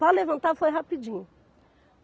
Para levantar foi rapidinho.